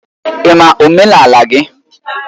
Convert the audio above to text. Ị ma omenala gị?